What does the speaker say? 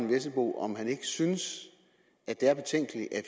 vesselbo om han ikke synes at det